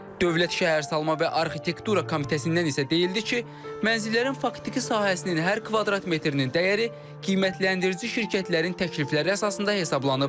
Dövlət Şəhərsalma və Arxitektura Komitəsindən isə deyildi ki, mənzillərin faktiki sahəsinin hər kvadrat metrinin dəyəri qiymətləndirici şirkətlərin təklifləri əsasında hesablanıb.